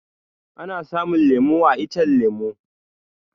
Ana samun lemu a iccen lemu